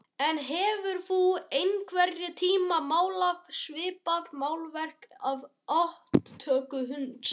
En hefurðu einhvern tíma málað svipað málverk af aftöku hunds?